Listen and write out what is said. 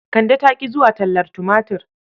Kande ta ƙi zuwa tallar tumatur..